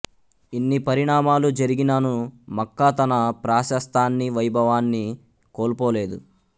ఇన్ని పరిణామాలు జరిగిననూ మక్కా తన ప్రాశస్తాన్నీ వైభవాన్నీ కోల్పోలేదు